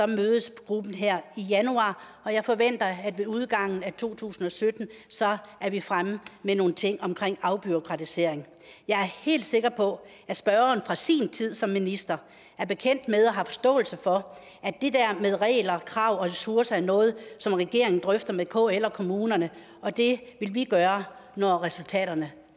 mødes gruppen her i januar og jeg forventer at ved udgangen af to tusind og sytten er vi fremme med nogle ting omkring afbureaukratisering jeg er helt sikker på at spørgeren fra sin tid som minister er bekendt med og har forståelse for at med regler krav og ressourcer er noget som regeringen drøfter med kl og kommunerne og det vil vi gøre når resultaterne